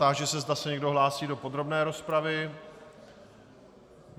Táži se, zda se někdo hlásí do podrobné rozpravy.